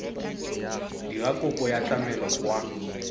dira kopo ya tlamelo kwa